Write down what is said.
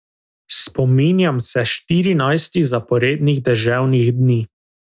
Spominjam sem štirinajstih zaporednih deževnih dni.